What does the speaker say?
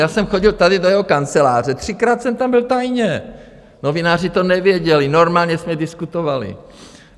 Já jsem chodil tady do jeho kanceláře, třikrát jsem tam byl tajně, novináři to nevěděli, normálně jsme diskutovali.